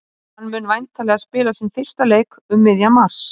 Hann mun væntanlega spila sinn fyrsta leik um miðjan mars.